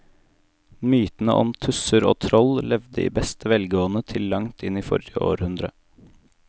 Mytene om tusser og troll levde i beste velgående til langt inn i forrige århundre.